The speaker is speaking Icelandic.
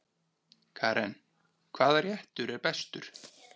Karen: Hvaða réttur er bestur?